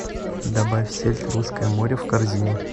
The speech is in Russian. добавь сельдь русское море в корзину